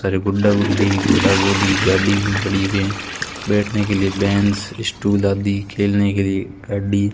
सारे गुड्डा गुड्डी घोड़ा घोड़ी गाड़ी भी पड़ी हुवे हैं बैठने के लिए बेंच स्टूल आदि खेलने के लिए गाड़ी --